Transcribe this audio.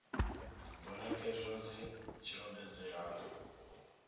dzo nekedzwa dzi tshi ombedzela